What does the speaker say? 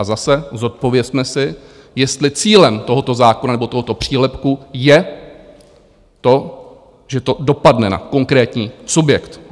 A zase, zodpovězme si, jestli cílem tohoto zákona nebo tohoto přílepku je to, že to dopadne na konkrétní subjekt.